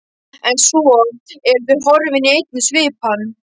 En svo eru þau horfin í einni svipan.